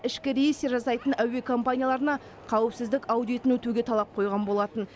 ішкі рейстер жасайтын әуе компанияларына қауіпсіздік аудитін өтуге талап қойған болатын